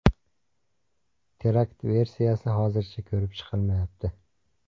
Terakt versiyasi hozircha ko‘rib chiqilmayapti.